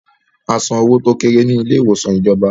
A san owó tó kéré ní ilé ìwòsàn ìjọba